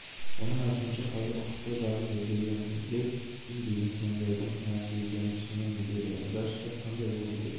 оның айтуынша қазір құқықтық жағы зерделунеде біз бизнесмендердің кінәсіз екенін түсінеміз деді онда штат қандай болу